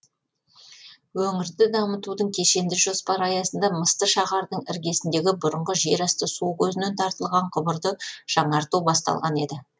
өңірді дамытудың кешенді жоспары аясында мысты шаһардың іргесіндегі бұрынғы жерасты су көзінен тартылған құбырды жаңарту басталған еді